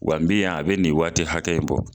Wa n bi yan a bɛ nin waati hakɛ ya in bɔ.